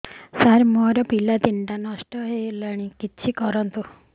ସାର ମୋର ପିଲା ତିନିଟା ନଷ୍ଟ ହେଲାଣି କିଛି କରନ୍ତୁ